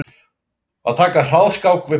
Að taka hraðskák við páfann